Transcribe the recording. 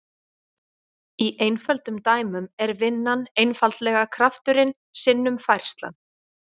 Í einföldum dæmum er vinnan einfaldlega krafturinn sinnum færslan.